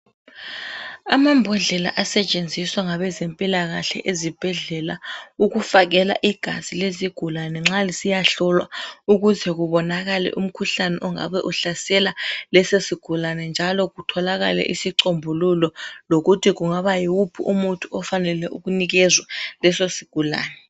Amambodlela asetshenziswa ngabezempilakahle ezibhedlela ukufakela igazi lezigulane nxa lisiyahlolwa ukuze kubonakale umkhuhlane ongabe uhlasela leso sigulane njalo kutholakale isicombululo lokuthi kungaba yiwuphi umuthi ofanele ukunikezwa leso sigulane.